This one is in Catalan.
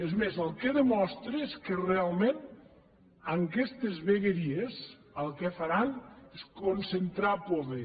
és més el que demostra és que realment amb aquestes vegueries el que faran és concentrar poder